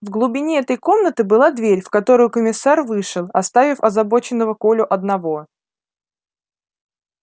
в глубине этой комнаты была дверь в которую комиссар вышел оставив озабоченного колю одного